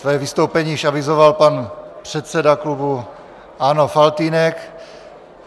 Své vystoupení již avizoval pan předseda klubu ANO Faltýnek.